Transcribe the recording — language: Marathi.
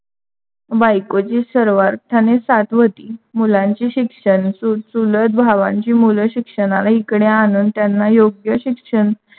बायकोची सर्वार्थाने साथ होती. मुलांची शिक्षण, चुलत भावांची शिक्षणाला इकडे आणून त्यांना योग्य शिक्षण